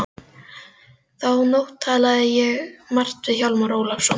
Þá nótt talaði ég margt við Hjálmar Ólafsson.